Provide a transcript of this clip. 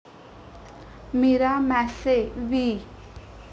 मीरा मॅसे वि